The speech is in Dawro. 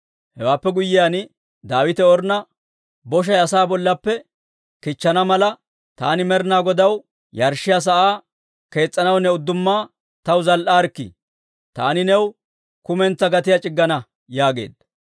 Hewaappe guyyiyaan, Daawite Ornna, «Boshay asaa bollappe kichchana mala, taani Med'inaa Godaw yarshshiyaa sa'aa kees's'anaw ne uddumma taw zal"aarikkii. Taani new kumentsaa gatiyaa c'iggana» yaageedda.